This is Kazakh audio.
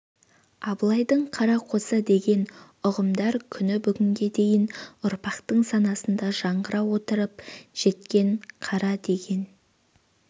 абылайдың қара қосы деген ұғымдар күні бүгінге дейін ұрпақтар санасында жаңғыра отырып жеткен қара деген